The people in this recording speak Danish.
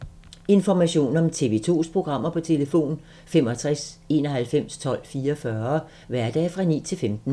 Information om TV 2's programmer: 65 91 12 44, hverdage 9-15.